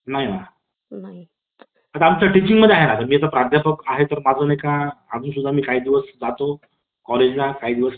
Meeting पण online meeting होतात या online meeting मध्ये एका जो समोरासमोर meeting होती boss सोबत त्या ची भीती असते